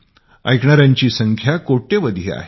ऐकणाऱ्यांची संख्या करोडो आहे